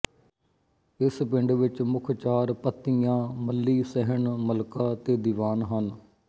ਇਸ ਪਿੰਡ ਵਿੱਚ ਮੁੱਖ ਚਾਰ ਪੱਤੀਆਂ ਮੱਲ੍ਹੀ ਸਹਿਣ ਮੱਲਕਾ ਤੇ ਦੀਵਾਨ ਹਨ